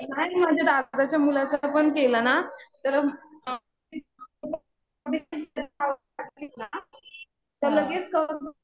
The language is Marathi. नाही. माझ्या दादाच्या मुलाचं पण केलं ना तर तर लगेच